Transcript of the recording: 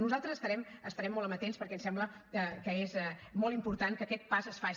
nosaltres estarem molt amatents perquè ens sembla que és molt important que aquest pas es faci